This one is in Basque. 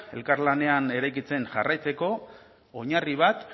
elkarlanean eraikitzen jarraitzeko oinarri bat